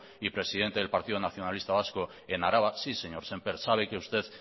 y presidente del partido nacionalista vasco en araba sí señor sémper sabe que usted